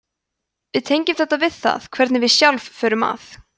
við tengjum þetta við það hvernig við sjálf förum að